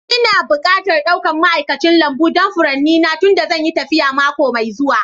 Ina bukatar ɗaukan ma'aikacin lambu don furanni na tunda zan yi tafiya mako mai zuwa